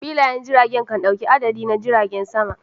Filayen jirage kan dauka adadi na jiragen sama.